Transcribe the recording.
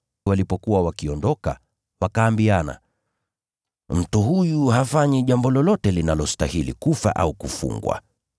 Walipokuwa wakiondoka, wakaambiana, “Mtu huyu hafanyi jambo lolote linalostahili kufa au kufungwa.”